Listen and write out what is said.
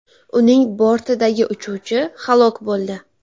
Uning bortidagi uchuvchi halok bo‘ldi.